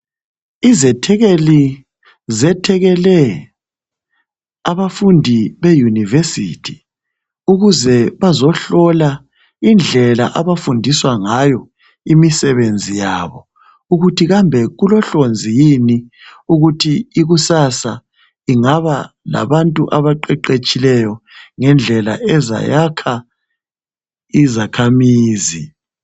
Izethekeli zethekele abafundi beyunivesithi ukuze bazehlola indlela abafundiswa ngayo imisebenzi yabo ukuthi kambe kulohlonzi yini ukuthi ikusasa ingaba labantu abaqeqetshileyo ngendlela ezayakha izakhamizi.